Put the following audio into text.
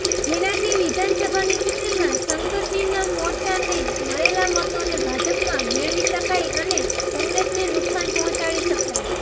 જેનાથી વિધાનસભાની ચૂંટણીમાં શંકરસિંહના મોરચાને મળેલા મતોને ભાજપમાં મેળવી શકાય અને કોંગ્રેસને નુકસાન પહોંચાડી શકાય